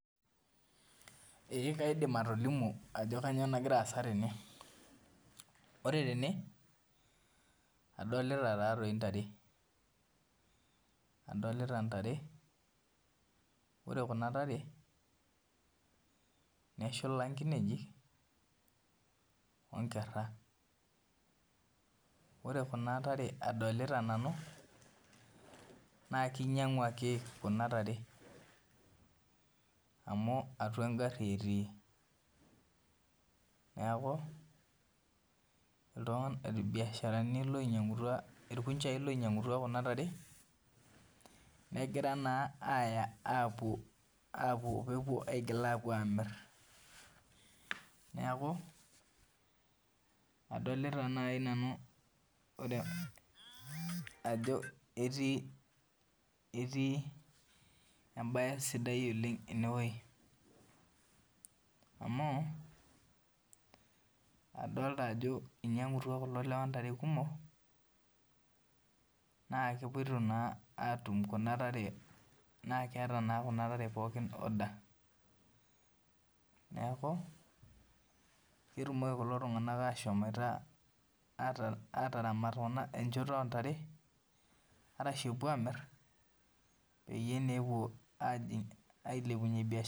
Ee kaidim atolimu ajo kanyio nagira aasa tene ore tene adolita ntare ore kuna tare neshula nkinejik onkera ore kuna tare adolita nanu na kinyanguaki kuna tare anu atua engari etii neaku irkunjai oinyangutua kuna tarenegira na aya apuo amir, neaku adolta nai nanu ajo etii embae sidai oleng ene amu adolta ajo inyangutua kulo lewa ntare kumok na keeta na kuna tare pookin order neaku ketumoki kulo tunganak ashomoito ataramat enchoto ontare arashu epuo amir peyie epuo ailepunye biashara.